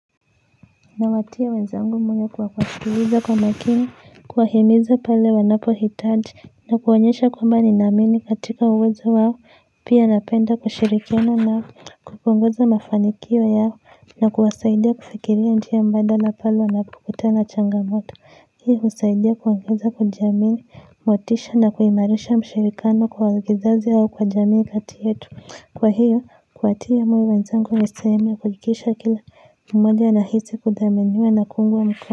Nawatia wenzangu moyo kwa kuwasikiliza kwa makini, kuwahimiza pale wanapohitaji, na kuwaonyesha kwamba nina amini katika uwezo wao, pia napenda kushirikiana na kupunguza mafanikio yao, na kuwasaidia kufikiria njia mbadala pale wanapokutana changamoto. Hii husaidia kuongeza kwa jamii, motisha na kuimarisha mshirikano kwa waigizaji hao kwa jamii kati yetu. Kwa hiyo, kuwatia moyo wenzangu ni sehemu ya kuhakikisha kila mmoja anahisi kuthaminiwa na kuungwa mkono.